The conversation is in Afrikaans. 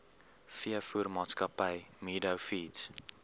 veevoermaatskappy meadow feeds